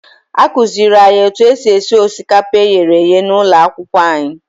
Akụziiri anyị otu esi esi osikapa e ghere eghe n'ụlọ akwụkwọ anyị.